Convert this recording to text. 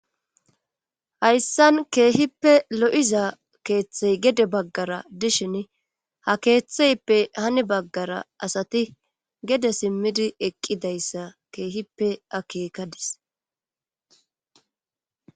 hayssan keehippe lo'iza keeththey gede baggara dishin ha keeththeyppe hani baggara asati gede simmidi eqqidayssa keehippe akeekadis